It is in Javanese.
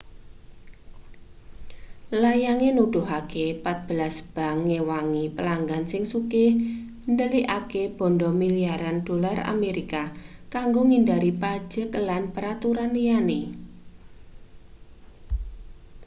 layange nuduhake patbelas bank ngewangi pelanggan sing sugih ndelikake banda milyaran dolar amerika kanggo ngindhari pajek lan peraturan liyane